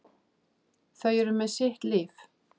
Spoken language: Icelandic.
Þau eru með sitt líf.